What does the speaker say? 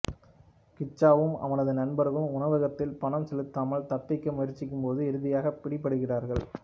கிச்சாவும் அவனது நண்பர்களும் உணவகத்தில் பணம் செலுத்தாமல் தப்பிக்க முயற்சிக்கும்போது இறுதியாக பிடிபடுகிறார்கள்